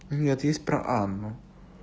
нет есть про анну